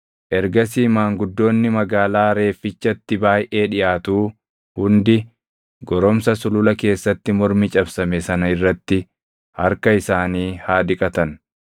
Ergasii maanguddoonni magaalaa reeffichatti baayʼee dhiʼaatuu hundi goromsa sulula keessatti mormi cabsame sana irratti harka isaanii haa dhiqatan.